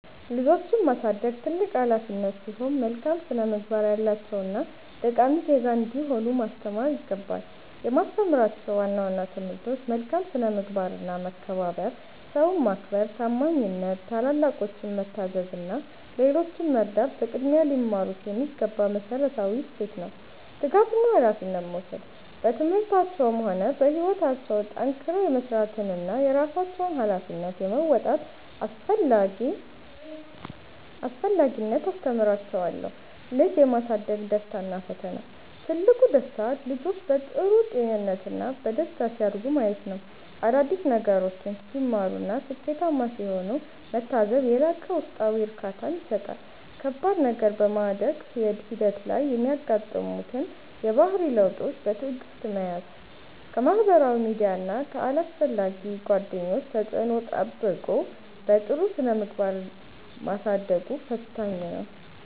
ልጆችን ማሳደግ ትልቅ ኃላፊነት ሲሆን፣ መልካም ስነ-ምግባር ያላቸውና ጠቃሚ ዜጋ እንዲሆኑ ማስተማር ይገባል። የማስተምራቸው ዋና ዋና ትምህርቶች፦ መልካም ስነ-ምግባርና መከባበር፦ ሰውን ማክበር፣ ታማኝነት፣ ታላላቆችን መታዘዝ እና ሌሎችን መርዳት በቅድሚያ ሊማሩት የሚገባ መሠረታዊ እሴት ነው። ትጋትና ኃላፊነት መውሰድ፦ በትምህርታቸውም ሆነ በሕይወታቸው ጠንክረው የመሥራትንና የራሳቸውን ኃላፊነት የመወጣትን አስፈላጊነት አስተምራቸዋለሁ። ልጅ የማሳደግ ደስታና ፈተና፦ ትልቁ ደስታ፦ ልጆች በጥሩ ጤንነትና በደስታ ሲያድጉ ማየት፣ አዳዲስ ነገሮችን ሲማሩና ስኬታማ ሲሆኑ መታዘብ የላቀ ውስጣዊ እርካታን ይሰጣል። ከባድ ነገር፦ በማደግ ሂደት ላይ የሚያጋጥሙትን የባህሪ ለውጦች በትዕግሥት መያዝ፣ ከማኅበራዊ ሚዲያና ከአላስፈላጊ ጓደኞች ተጽዕኖ ጠብቆ በጥሩ ስነ-ምግባር ማሳደጉ ፈታኝ ነው።